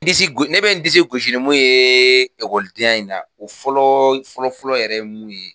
Disi go ne be n disi gosi nu yee ekɔdenya in na o fɔlɔ fɔlɔfɔlɔ yɛrɛ ye mun ye